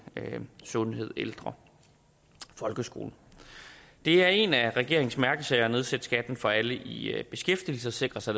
sundhed ældre folkeskole det er en af regeringens mærkesager at nedsætte skatten for alle i beskæftigelse og sikre sig